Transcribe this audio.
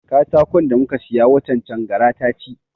Katakon da muka siya watan can gara ta ci